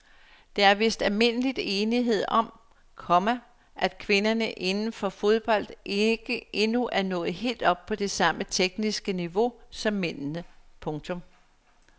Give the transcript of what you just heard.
Der er vist almindelig enighed om, komma at kvinderne inden for fodbold ikke endnu er nået helt op på det samme tekniske niveau som mændene. punktum